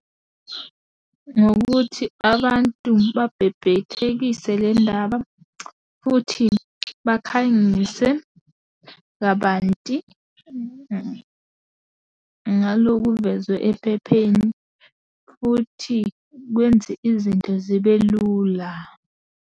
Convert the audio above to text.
Ngokuthi abantu babhebhethekise le ndaba, futhi bakhangise kabanti ngalo kuvezwe ephepheni, futhi kwenze izinto zibe lula.